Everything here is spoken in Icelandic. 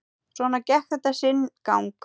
Svona gekk þetta sinn gang.